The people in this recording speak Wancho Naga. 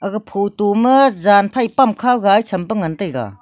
ga photo ma jan phai pamkhao ga e tham pe ngan taiga.